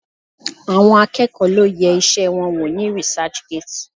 Àwọn akẹ́kọ̀ọ́ lo yẹ iṣẹ́ wọn wò ní researchgate